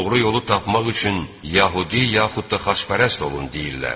Doğru yolu tapmaq üçün yəhudi yaxud da xaçpərəst olun deyirlər.